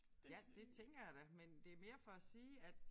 Ja det tænker jeg da men det mere for at sige at